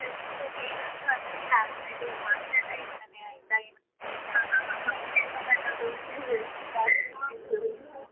ಸರಿ ಸರಿ ಏನಾದ್ರು ಆ ತರ ಟ~ ಇದು ಮಾತ್ರೆ ಎಲ್ಲಾ ಇರ್ತದೆ ಆಯ್ತ ಏನು